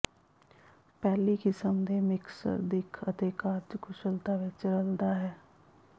ਪਹਿਲੀ ਕਿਸਮ ਦੇ ਮਿਕਸਰ ਦਿੱਖ ਅਤੇ ਕਾਰਜਕੁਸ਼ਲਤਾ ਵਿੱਚ ਰਲਦਾ ਹੈ